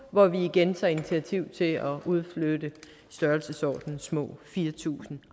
hvor vi igen tager initiativ til at udflytte i størrelsesordenen små fire tusind